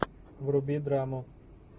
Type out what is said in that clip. вруби драму